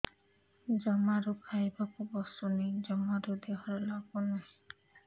ଜମାରୁ ଖାଇବାକୁ ବସୁନି ଜମାରୁ ଦେହରେ ଲାଗୁନି